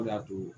O de y'a to